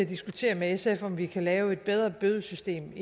diskutere med sf om vi kan lave et bedre bødesystem